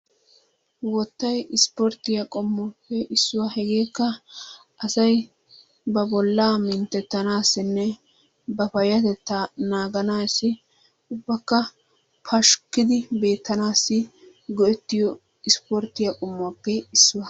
Wottayi ispporttiya qommotuppe issuwa hegeekka asayi ba bollaa minttettanaassinne ba payyatettaa naaganaassi ubbakka pashkkidi beettanaassi go'ettiyo ispporttiya qommuwappe issuwa.